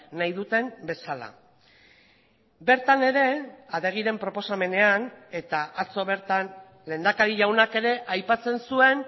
nahi duten bezala bertan ere adegiren proposamenean eta atzo bertan lehendakari jaunak ere aipatzen zuen